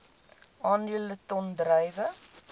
aandele ton druiwe